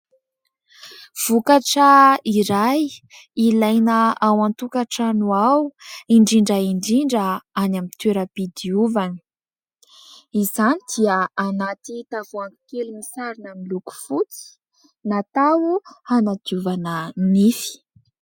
Vokatra iray ilaina ao an-tokatrano ao indrindra indrindra any amin'ny toera-pidiovana. Izany dia anaty tavoangy kely misarona miloko fotsy natao hanadiovana nify.